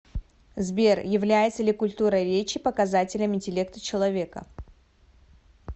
сбер является ли культура речи показателем интеллекта человека